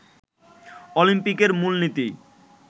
অলিম্পিকের মূলনীতি